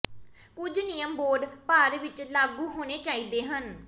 ਕੁਝ ਨਿਯਮ ਬੋਰਡ ਭਰ ਵਿੱਚ ਲਾਗੂ ਹੋਣੇ ਚਾਹੀਦੇ ਹਨ